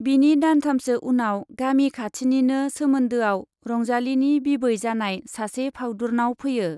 बिनि दानथामसो उनाव गामि खाथिनिनो सोमोन्दोआव रंजालीनि बिबै जानाय सासे फाउदुरनाव फैयो।